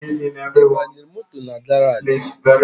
I banyere moto na garaji?